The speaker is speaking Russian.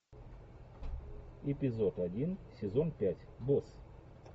эпизод один сезон пять босс